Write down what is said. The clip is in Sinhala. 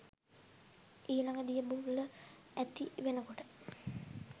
ඊළඟ දිය බුබුල ඇති වෙනකොට